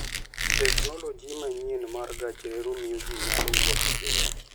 Teknoloji manyien mar gach reru miyo ji nyalo wuotho piyo.